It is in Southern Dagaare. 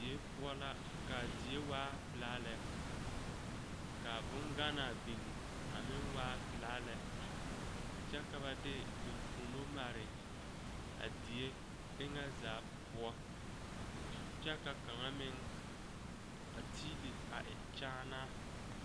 Die poɔ la kaa die waa pilaa lɛ kaa boŋganaa biŋ a meŋ waa pilaa lɛ kyɛ ka ba de eŋfuomo mare a die eŋɛ zaa poɔ kyɛ ka kaŋa meŋ a tiile a e kyaanaa.